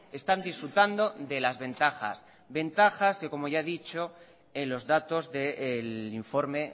están disfrutando de las ventajas ventajas que como ya he dicho en los datos del informe